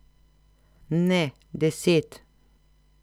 Ne, deset.